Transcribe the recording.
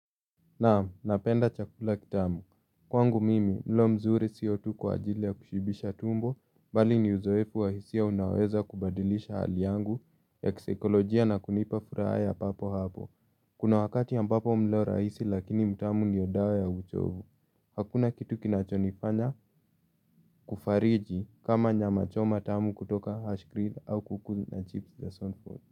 Naam, napenda chakula kitamu. Kwangu mimi, mlo mzuri sio tu kwa ajili ya kushibisha tumbo, bali ni uzoefu wa hisia unaweza kubadilisha hali yangu ya kisaikolojia na kunipa furaha ya papo hapo. Kuna wakati ampapo mlo rahisi lakini mtamu ndio dawa ya uchovu. Hakuna kitu kinachonifanya kufariji kama nyama choma tamu kutoka Ashgree au kuku na chips za Sonford.